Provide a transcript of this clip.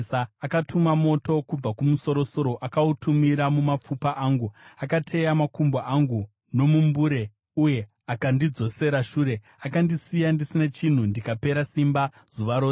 “Akatuma moto kubva kumusoro-soro, akautumira mumapfupa angu. Akateya makumbo angu nomumbure uye akandidzosera shure. Akandisiya ndisina chinhu, ndikapera simba zuva rose.